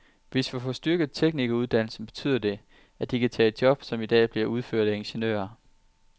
Hvis vi får styrket teknikeruddannelserne, betyder det, at de kan tage job, som i dag bliver udført af ingeniører.